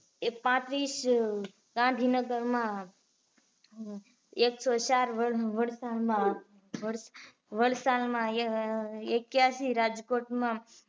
એ પાન્ત્રીસ, ગાંધીનગરમાં એક સો ચાર વલસાડ માં વલસાડ માં એક્યાશી રાજકોટ માં